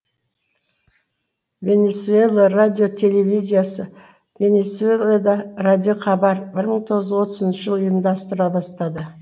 венесуэла радио телевизиясы венесуэлада радиохабар бір мың тоғыз жүз отызыншы жылы ұйымдастырыла бастады